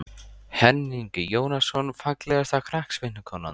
Henning Jónasson Fallegasta knattspyrnukonan?